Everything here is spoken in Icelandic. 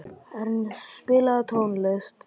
Ernst, spilaðu tónlist.